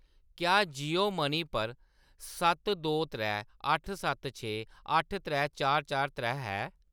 क्या जियो मनी पर सत्त दो त्रै अट्ठ सत्त छे अट्ठ त्रै चार चार त्रै है ?